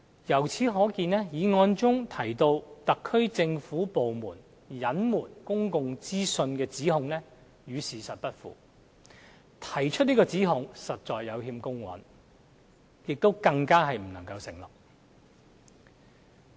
由此可見，議案中提到特區政府部門隱瞞公共資訊的指控與事實不符，提出這個指控實在有欠公允，亦不能成立。